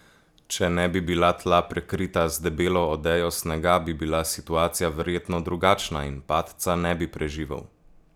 Če ne bi bila tla prekrita z debelo odejo snega, bi bila situacija verjetno drugačna in padca ne bi preživel.